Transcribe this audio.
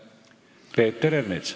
Peeter Ernits.